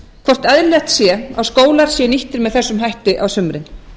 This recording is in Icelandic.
hvort eðlilegt sé að skólar séu nýttir með þessum hætti á sumrin